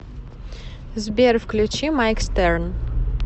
сбер включи майк стерн